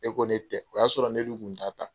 Ne ko ne tɛ o y'a sɔrɔ ne dun kun t'a ta.